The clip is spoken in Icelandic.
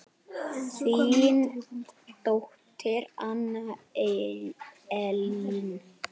Þín dóttir Anna Elín.